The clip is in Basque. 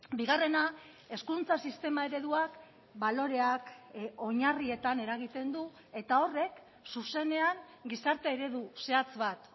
bigarrena hezkuntza sistema ereduak baloreak oinarrietan eragiten du eta horrek zuzenean gizarte eredu zehatz bat